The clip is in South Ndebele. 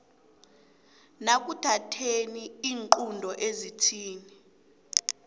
nekuthatheni iinqunto ezithinta